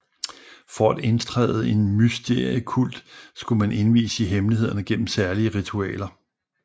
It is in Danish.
For at indtræde i en mysteriekult skulle man indvies i hemmelighederne gennem særlige ritualer